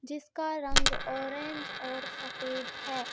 जिसका रंग ऑरेंज और सफेद है.